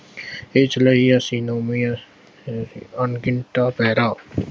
ਇਸ ਲਈ ਅਸੀ ਅਣਡਿੱਠਾ ਪੈਰਾ